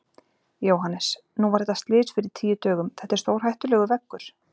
Jóhannes: Nú var þetta slys fyrir tíu dögum, þetta er stórhættulegur veggur?